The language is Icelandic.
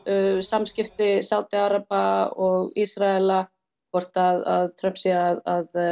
samskipti Sádí araba og Ísraela hvort að Trump sé að